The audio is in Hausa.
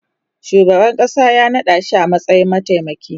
shugaban ƙasa ya naɗashi a matsayin mataimaki